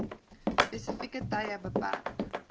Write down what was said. spesifieke tye beperk